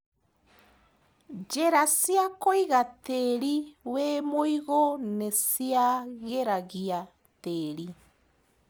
Njĩra cia kũiga tĩri wĩmũigũ nĩciagĩragia tĩri.